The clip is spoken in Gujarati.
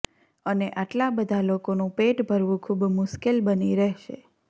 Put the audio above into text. અને આટલા બધા લોકોનું પેટ ભરવું ખુબ મુશ્કેલ બની રહેશે